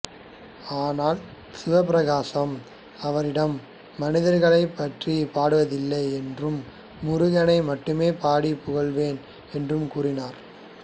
ஆனால் சிவப்பிரகாசர் அவரிடம் மனிதர்களைப் பற்றி பாடுவதில்லை என்றும் முருகனை மட்டுமே பாடி புகழ்வேன் என்று கூறினார்